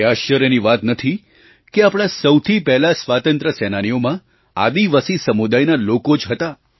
એ આશ્ચર્યની વાત નથી કે આપણા સૌથી પહેલા સ્વાતંત્ર્ય સેનાનીઓમાં આદિવાસી સમુદાયના લોકો જ હતા